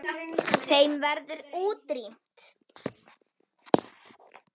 Þeim verður útrýmt.